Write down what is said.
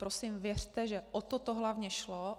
Prosím, věřte, že o toto to hlavně šlo.